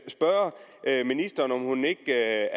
spørge ministeren om hun ikke